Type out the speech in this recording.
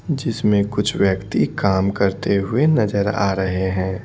जिसमें कुछ व्यक्ति काम करते हुए नजर आ रहे हैं।